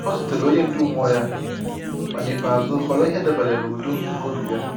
Ọ zutere onye ndu mmụọ ya, ma n’ikpeazụ họrọ ihe dabeere na udo nke obi ya.